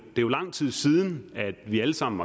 jo lang tid siden at vi alle sammen